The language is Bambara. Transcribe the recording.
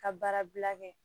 Ka baara bila kɛ